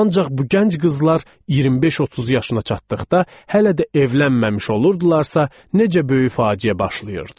Ancaq bu gənc qızlar 25-30 yaşına çatdıqda hələ də evlənməmiş olurdularsa, necə böyük faciə başlayırdı.